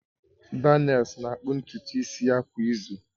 Daniels na-akpụ ntutu isi ya kwa izu